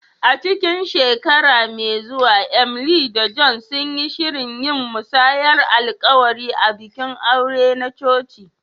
A cikin shekara mai zuwa, Emily da John sun yi shirin yin musayar alƙawari a bikin aure na coci.